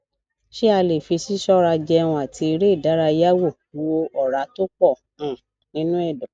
ṣé a lè fi sisora jẹún ati ere idaraya wo wo ora to po um ninu edo